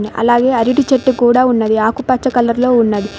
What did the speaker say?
అలాగే అరటి చెట్టు కూడా ఉన్నవి ఆకుపచ్చ కలర్ లో ఉన్నది.